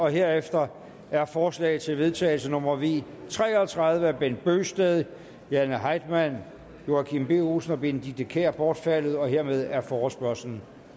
herefter er forslag til vedtagelse nummer v tre og tredive af bent bøgsted jane heitmann joachim b olsen og benedikte kiær bortfaldet hermed er forespørgslen